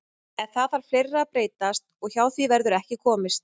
En það þarf fleira að breytast og hjá því verður ekki komist.